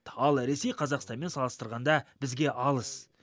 ал ресей қазақстанмен салыстырғанда бізге алыс